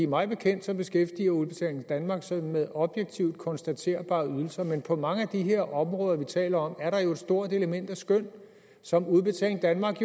mig bekendt beskæftiger udbetaling danmark sig med objektivt konstaterbare ydelser men på mange af de her områder vi taler om er der jo et stort element af skøn som udbetaling danmark